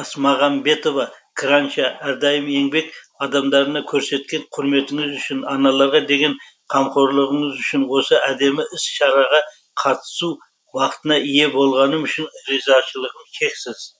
асмағамбетова краншы әрдайым еңбек адамдарына көрсеткен құрметіңіз үшін аналарға деген қамқорлығыңыз үшін осы әдемі іс шараға қатысу бақытына ие болғаным үшін ризашылығым шексіз